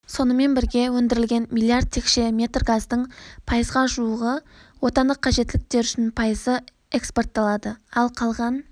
сонымен бірге өндірілген миллиард текше метр газдың пайызға жуығы отандық қажеттіліктер үшін пайызы экспортталады ал қалған